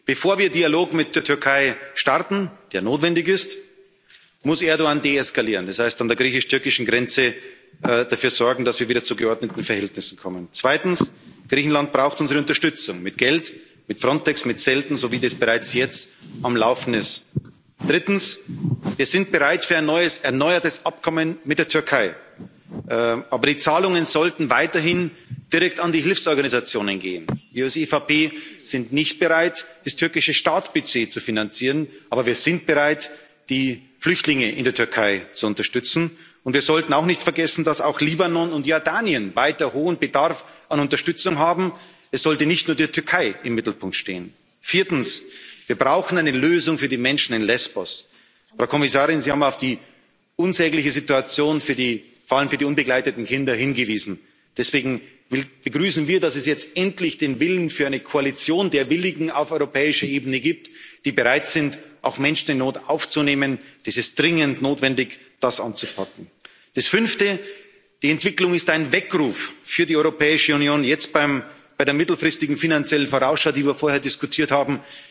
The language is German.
tun? Erstens Bevor wir einen Dialog mit der Türkei starten, der notwendig ist, muss Erdoğan deeskalieren, das heißt, an der griechisch türkischen Grenze dafür sorgen, dass wir wieder zu geordneten Verhältnissen kommen. Zweitens Griechenland braucht unsere Unterstützung mit Geld, mit Frontex, mit Zelten, so wie das bereits jetzt am Laufen ist. Drittens Wir sind bereit für ein erneuertes Abkommen mit der Türkei. Aber die Zahlungen sollten weiterhin direkt an die Hilfsorganisationen gehen. Wir als EVP sind nicht bereit, das türkische Staatsbudget zu finanzieren, aber wir sind bereit, die Flüchtlinge in der Türkei zu unterstützen. Und wir sollten auch nicht vergessen, dass auch Libanon und Jordanien weiter hohen Bedarf an Unterstützung haben. Es sollte nicht nur die Türkei im Mittelpunkt stehen. Viertens Wir brauchen eine Lösung für die Menschen in Lesbos. Frau Kommissarin, Sie haben auf die unsägliche Situation vor allem für die unbegleiteten Kinder hingewiesen. Deswegen begrüßen wir, dass es jetzt endlich den Willen für eine Koalition der Willigen auf europäischer Ebene gibt, die bereit sind, auch Menschen in Not aufzunehmen. Es ist dringend notwendig, das anzupacken. Das Fünfte Die Entwicklung ist ein Weckruf für die Europäische Union, jetzt bei der mittelfristigen finanziellen Vorausschau, die wir